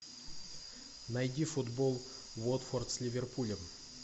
найди футбол уотфорд с ливерпулем